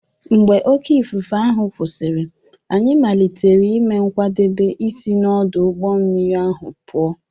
Mgbe oké ifufe ahụ kwụsịrị, anyị malitere ime nkwadebe isi n’ọdụ ụgbọ mmiri ahụ pụọ.